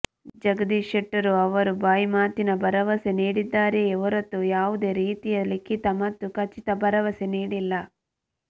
ಜಗದೀಶ ಶೆಟ್ಟರ್ ಅವರು ಬಾಯಿಮಾತಿನ ಭರವಸೆ ನೀಡಿದ್ದಾರೆಯೇ ಹೊರತು ಯಾವುದೇ ರೀತಿಯ ಲಿಖಿತ ಮತ್ತು ಖಚಿತ ಭರವಸೆ ನೀಡಿಲ್ಲ